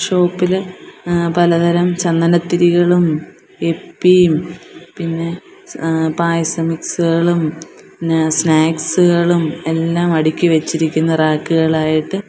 Shop ഇല് ആ പലതരം ചന്ദനത്തിരികളും യിപ്പി യും പിന്നെ ആ പായസം മിക്സ് കളും പിന്നെ സ്നാക്സ് കളും എല്ലാം അടുക്കി വെച്ചിരിക്കുന്നു റാക്ക് കൾ ആയിട്ട്.